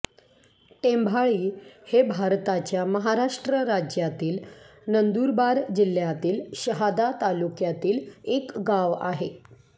टेंभाळी हे भारताच्या महाराष्ट्र राज्यातील नंदुरबार जिल्ह्यातील शहादा तालुक्यातील एक गाव आहे